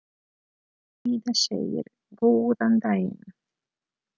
Heiða segir góðan daginn!